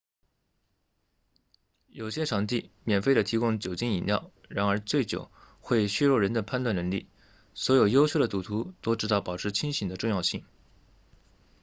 有些场地免费提供酒精饮料然而醉酒会削弱人的判断能力所有优秀的赌徒都知道保持清醒的重要性